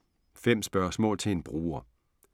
5 spørgsmål til en bruger